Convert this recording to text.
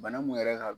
Bana mun yɛrɛ ka